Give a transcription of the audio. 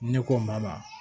Ne ko n ma ba